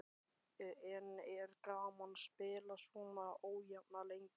En er gaman að spila svona ójafna leiki?